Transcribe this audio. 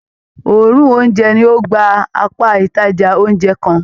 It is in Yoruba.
Òòrùn oúnjẹ ní o gbà apá ìtajà oúnjẹ kán.